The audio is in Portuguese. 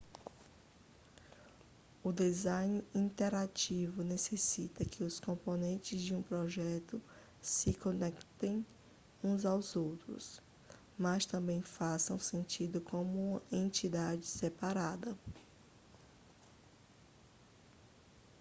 o design interativo necessita que os componentes de um projeto se conectem uns aos outros mas também façam sentido como uma entidade separada